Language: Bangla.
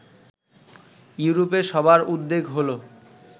ইউরোপে সবার উদ্বেগ হলো